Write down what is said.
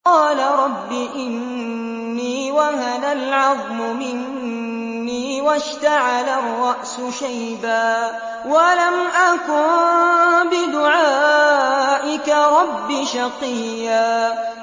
قَالَ رَبِّ إِنِّي وَهَنَ الْعَظْمُ مِنِّي وَاشْتَعَلَ الرَّأْسُ شَيْبًا وَلَمْ أَكُن بِدُعَائِكَ رَبِّ شَقِيًّا